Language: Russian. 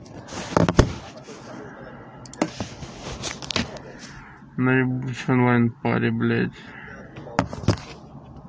на ебучей онлайн паре блять